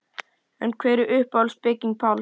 En hver er uppáhalds bygging Páls?